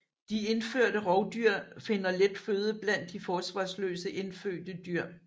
De indførte rovdyr finder let føde blandt de forsvarsløse indfødte dyr